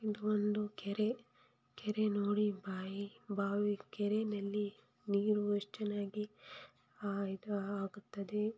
ಇದೊಂದು ಕೆರೆ ಕೆರೆ ನೋಡಿ ಬಾಯಿ ಬಾವಿ ಕೆರೆನಲ್ಲಿ ನೀರು ಆ ಆ ಇದ್ ಆಗುತ್ತದೆ.